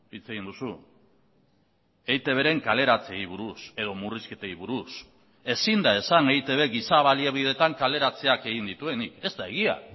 hitz egin duzu eitbren kaleratzeei buruz edo murrizketei buruz ezin da esan eitb giza baliabideetan kaleratzeak egin dituenik ez da egia